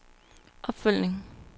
opfølgning